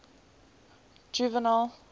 juvenal